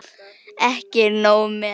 Ekki nóg með að